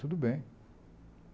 Tudo bem.